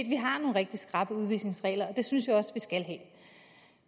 vi har nogle rigtig skrappe udvisningsregler og det synes jeg også vi skal have